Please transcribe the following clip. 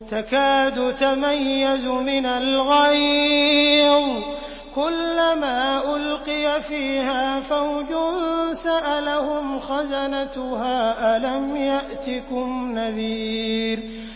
تَكَادُ تَمَيَّزُ مِنَ الْغَيْظِ ۖ كُلَّمَا أُلْقِيَ فِيهَا فَوْجٌ سَأَلَهُمْ خَزَنَتُهَا أَلَمْ يَأْتِكُمْ نَذِيرٌ